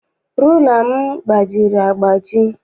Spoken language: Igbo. Rula m gbajiri agbaji.